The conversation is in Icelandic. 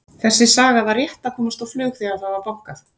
Þessi saga var rétt að komast á flug þegar það var bankað.